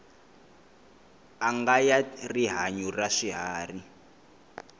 anga ya rihanyu ra swiharhi